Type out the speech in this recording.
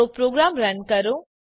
તો program run કરો